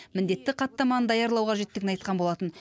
міндетті хаттаманы даярлау қажеттігін айтқан болатын